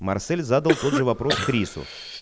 марсель задал тот же вопрос к рису